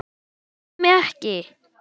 Ég gaf mig ekki!